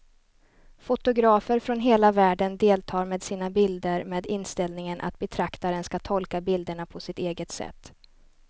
Fotografer från hela världen deltar med sina bilder med inställningen att betraktaren ska tolka bilderna på sitt eget sätt.